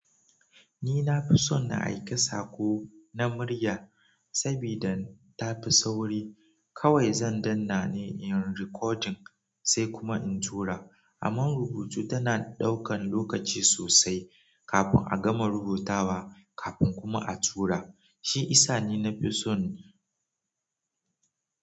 Ni na fi son na aika sako na murya saboda ta fi sauri. Kawai zan dannane in recording sai kuma in tura. Amma rubutu tana daukan lokaci sosai kafin a gama rubutawa kafin kuma a tura shi isa ni nafi son.